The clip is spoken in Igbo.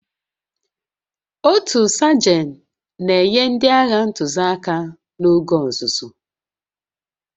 Otu Sajan na-enye ndị agha ntụziaka n'oge ọzụzụ